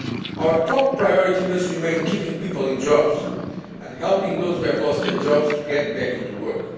rising. Our top priority must remain keeping people in jobs and helping those who have lost their jobs to get back into